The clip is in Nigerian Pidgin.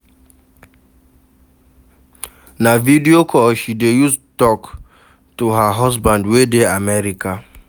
Na video call she dey use tok to her husband wey dey America.